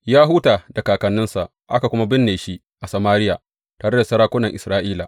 Ya huta da kakanninsa aka kuma binne shi a Samariya tare da sarakunan Isra’ila.